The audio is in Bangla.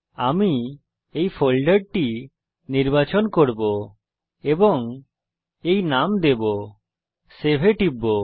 আমি এই ফোল্ডারটি নির্বাচন করব এবং এই নাম দেবো Save এ টিপব